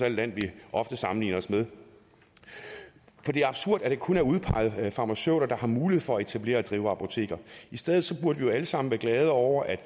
et land vi ofte sammenligner os med det er absurd at det kun er udpegede farmaceuter der har mulighed for at etablere og drive apoteker i stedet burde vi alle sammen være glade over at